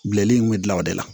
Bilali in bɛ gilan o de la